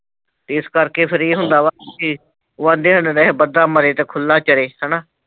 ਤੇ ਇਸ ਕਰਕੇ ਫਿਰ ਇਹ ਹੁੰਦਾ ਵਾ ਕਿ ਉਹ ਆਖਦੇ ਹੋਣੇ ਕਿ ਇਹ ਬੰਦਾ ਮਰੇ ਤੇ ਖੁੱਲਾ ਚਰੇ ਹੈ ਨਾ।